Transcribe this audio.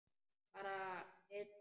Bara við tvö?